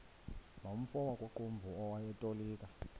nomfo wakuqumbu owayetolika